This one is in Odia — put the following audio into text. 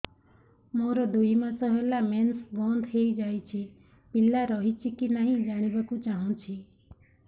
ମୋର ଦୁଇ ମାସ ହେଲା ମେନ୍ସ ବନ୍ଦ ହେଇ ଯାଇଛି ପିଲା ରହିଛି କି ନାହିଁ ଜାଣିବା କୁ ଚାହୁଁଛି